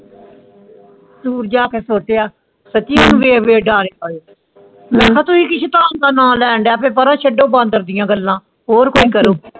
ਦੂਰ ਜਾਕੇ ਸੋਚਿਆ ਸਾਚੀ ਮੈ ਕਿਆ ਤੂੰ ਹੀ ਕਿ ਸੰਤਾਂ ਦੇਇ ਨਾ ਲੈ ਦਯਾ ਤੇ ਪੈਰਾ ਛੱਡੋ ਬਾਂਦਰ ਦੀ ਆ ਗੱਲਾਂ ਹੋਰ ਫੋਨ ਕਰੋ